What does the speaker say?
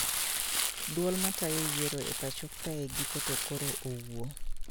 Duol matayo yiero e pacho kae giko to koro owuo